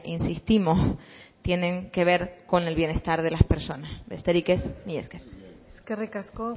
insistimos tienen que ver con el bienestar de las personas besterik ez mila esker eskerrik asko